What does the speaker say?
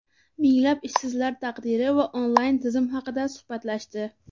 minglab ishsizlar taqdiri va onlayn turizm haqida suhbatlashdi.